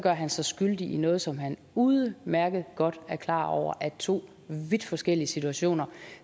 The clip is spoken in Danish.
han sig skyldig i noget som han udmærket godt er klar over er to vidt forskellige situationer